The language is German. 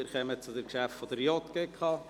Wir kommen zu den Geschäften der JGK.